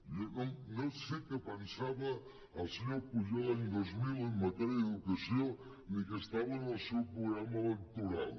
jo no sé què pensava el senyor pujol l’any dos mil en matèria d’educació ni què estava en el seu programa electoral